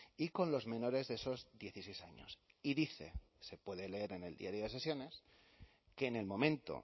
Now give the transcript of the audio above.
y con los menores de esos dieciséis años y dice se puede leer en el diario de sesiones que en el momento